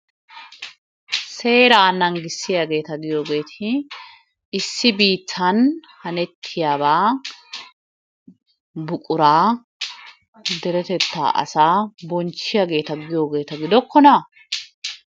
Seeraa nanggissiyageeta giyogeeti issi biittan hanettiyabaa buquraa deretettaa asaa bonchchiyageeta giyogeeta gidokkonaa?